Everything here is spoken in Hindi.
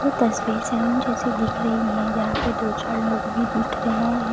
यह तस्वीर सैलून जैसी दिख रही है यहाँ पे दो चार लोग भी दिख रहे हैं।